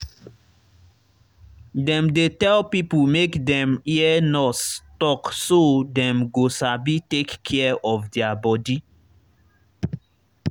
dem dey tell pipo make dem hear nurse talk so dem go sabi take care of their body.